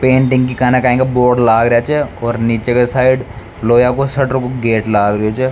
Board लाग रेहा छ और नीचे के साइड लोहा को शटर को गेट लाग रेहो छ।